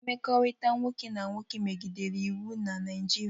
Mmekọrịta nwoke na nwoke megidere iwu na Naịjirịa